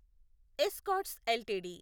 escorts LTD